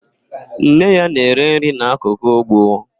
Nne ya na-ere nri n'akụkụ úgwú.